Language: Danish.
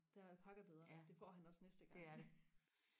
der er alpaca bedre det får han også næste gang